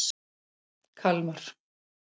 Kalmar